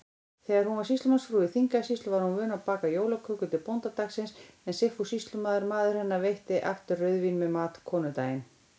Þegar hún var sýslumannsfrú í Þingeyjarsýslu, var hún vön að baka jólaköku til bóndadagsins, en Sigfús sýslumaður, maður hennar, veitti aftur rauðvín með mat konudaginn.